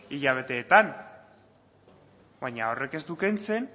hilabeteetan baina horrek ez du kentzen